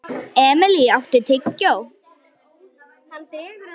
Emilý, áttu tyggjó?